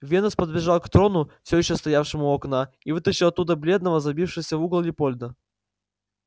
венус подбежал к трону всё ещё стоявшему у окна и вытащил оттуда бледного забившегося в угол лепольда